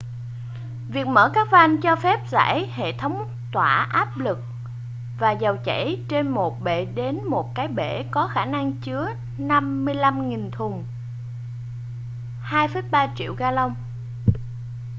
việc mở các van cho phép giải hệ thống tỏa áp lực và dầu chảy trên một bệ đến một cái bể có khả năng chứa 55.000 thùng 2,3 triệu galông